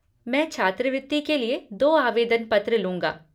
मैं छात्रवृति के लिए दो आवेदन पत्र लूँगा।